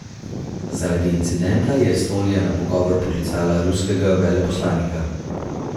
Zaradi incidenta je Estonija na pogovor poklicala ruskega veleposlanika.